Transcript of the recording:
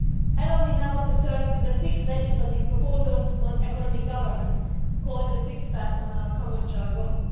Allow me now to turn to the six legislative proposals on economic governance, called the six pack' in our common jargon.